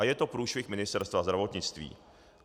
A je to průšvih Ministerstva zdravotnictví.